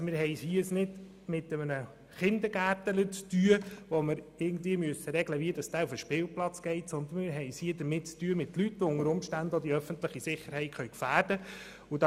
Wir haben es hier also nicht mit einem Kindergartenkind zu tun, bei dem wir regeln müssen, wie es auf den Spielplatz geht, sondern wir haben es mit Leuten zu tun, die unter Umständen auch die öffentliche Sicherheit gefährden können.